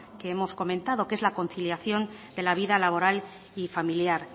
que ya lo hemos comentado que es la conciliación de la vida laboral y familiar